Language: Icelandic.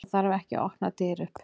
Það þarf ekki að opna dyr upp.